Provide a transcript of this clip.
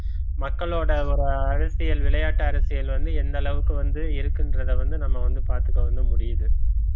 மக்களோட ஒரு அரசியல் விளையாட்டு அரசியல் வந்து எந்த அளவுக்கு வந்து இருக்குன்றதை வந்து நம்ம வந்து பாத்துக்க வந்து முடியுது